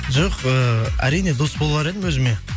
жоқ ыыы әрине дос болар едім өзіме